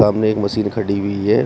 सामने एक मशीन खड़ी हुई है।